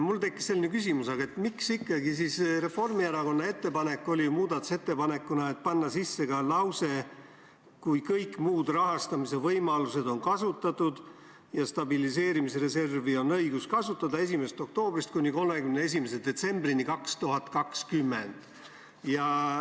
Mul tekkis siin selline küsimus, et miks ikkagi oli Reformierakonna muudatusettepanek panna eelnõusse sisse ka täpsustus "kui kõik muud rahastamise võimalused on kasutatud" ja lause "Stabiliseerimisreservi on õigus kasutada 1. oktoobrist kuni 31. detsembrini 2020".